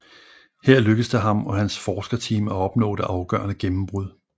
Her lykkedes det ham og hans forskerteam at opnå det afgørende gennembrud